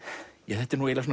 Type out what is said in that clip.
þetta er nú eiginlega